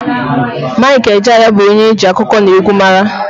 Mike Ejeagha bụ onye e ji akụkọnaegwu mara.